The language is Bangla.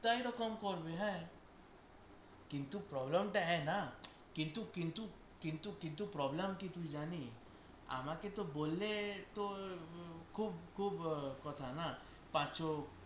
তাহলে তো কম পড়বে হ্যাঁ কিন্তু problem তো না কিন্তু কিন্তু পারবো ন problem কি তুই জানিস আমাকে তো বললে তোর খুব খুব কথা না, পাঁচঃ